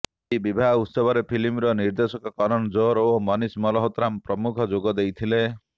ଏହି ବିବାହ ଉତ୍ସବରେ ଫିଲ୍ମ ନିର୍ଦ୍ଦେଶକ କରନ ଜୋହର ଓ ମନିସ ମାଲହୋତ୍ରା ପ୍ରମୁଖ ଯୋଗ ଦେଇଥିଲେ